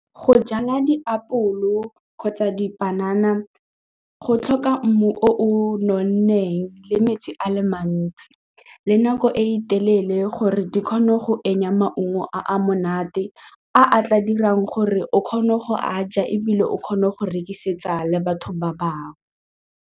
Go jala diapole go kgotsa dipanana go tlhoka mmu o o nonneng le metsi a le mantsi le nako e telele gore di kgone go maungo a a monate a tla dirang gore o kgone go a ja ebile o kgone go rekisetsa le batho ba bangwe.